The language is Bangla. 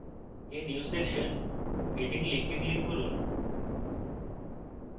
a new section heading link click করুন